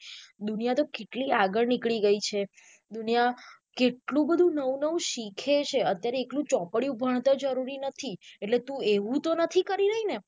દુનિયા તો કેટલી આગળ નીકળી ગઈ છે દુનિયા કેટલું બધું નઉ નઉ શીખે છે અત્યારે એકલું ચોપડી ભણતર જરૂરી નથી અને તું એવું તો નથી કરી રહી ને.